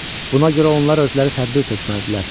Buna görə onlar özləri tədbir tökməlidirlər.